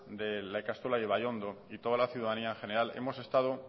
de la ikastola de ibaiondo y toda la ciudadanía en general hemos estado